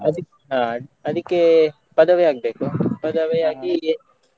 ಅದಿ~ ಅದಿಕ್ಕೆ ಪದವಿ ಆಗ್ಬೇಕು ಪದವಿ ಆಗಿ.